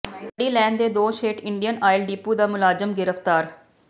ਵੱਢੀ ਲੈਣ ਦੇ ਦੋਸ਼ ਹੇਠ ਇੰਡੀਅਨ ਆਇਲ ਡਿੱਪੂ ਦਾ ਮੁਲਾਜ਼ਮ ਗ੍ਰਿਫ਼ਤਾਰ